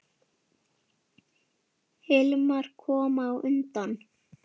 Hilmar kom á undan.